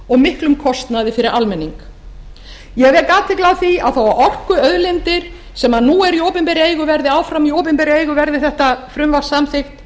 og miklum kostnaði fyrir almenning eg vek athygli á því að þó að orkuauðlindir sem nú eru í opinberri eigu verði áfram í opinberra eigu verði þetta frumvarp samþykkt